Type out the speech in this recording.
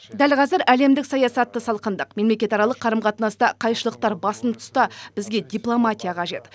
дәл қазір әлемдік саясатта салқындық мемлекетаралық қарым қатынаста қайшылықтар басым тұста бізге дипломатия қажет